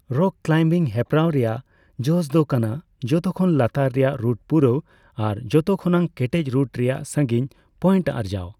Rock climbing ᱦᱮᱯᱨᱟᱣ ᱨᱮᱭᱟᱜ ᱡᱚᱥᱫᱚ ᱠᱟᱱᱟ ᱡᱷᱚᱛᱚ ᱠᱷᱚᱱ ᱞᱟᱛᱟᱨ ᱨᱮᱭᱟᱜ ᱨᱩᱴ ᱯᱩᱨᱟᱹᱣ ᱟᱨ ᱡᱷᱚᱛᱚ ᱠᱷᱚᱱᱟᱜ ᱠᱮᱴᱮᱡ ᱨᱩᱴ ᱨᱮᱭᱟᱜ ᱥᱟᱹᱜᱤᱧ ᱯᱚᱭᱮᱱᱴ ᱟᱨᱡᱟᱣ ᱾